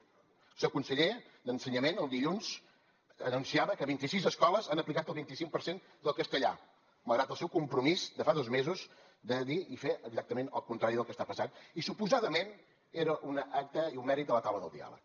el seu conseller d’ensenyament el dilluns anunciava que vint i sis escoles han aplicat el vint i cinc per cent del castellà malgrat el seu compromís de fa dos mesos de dir i fer exactament el contrari del que està passant i suposadament era un acte i un mèrit de la taula del diàleg